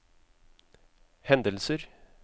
hendelser